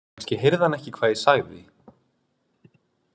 Kannski heyrði hann ekki hvað ég sagði.